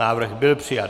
Návrh byl přijat.